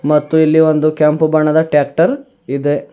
ಮತ್ತು ಇಲ್ಲಿ ಒಂದು ಕೆಂಪು ಬಣ್ಣದ ಟ್ಯಾಕ್ಟರ್ ಇದೆ.